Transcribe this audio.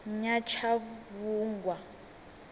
nyatshavhungwa